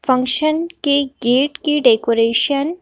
function के gate की decoration --